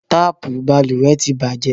Tapu balùwẹ́ tí bàjẹ́